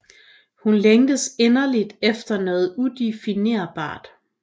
Hun længes inderligt efter noget udefinerbart